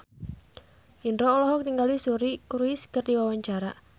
Indro olohok ningali Suri Cruise keur diwawancara